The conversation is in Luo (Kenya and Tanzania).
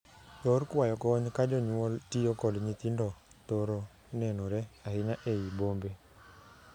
Yor kwayo kony ka jonyuol tiyo kod nyithindo thoro nenore ahinya ei bombe.